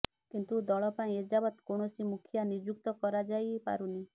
କିନ୍ତୁ ଦଳ ପାଇଁ ଏଯାବତ୍ କୌଣସି ମୁଖିଆ ନିଯୁକ୍ତ କରାଯାଇ ପାରୁନି